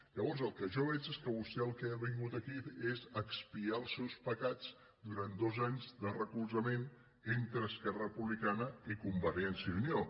llavors el que jo veig és que vostè al que ha vingut aquí és a expiar els seus pecats durant dos anys de recolzament entre esquerra republicana i convergència i unió